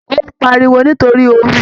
Ó ń pariwo nítorí ooru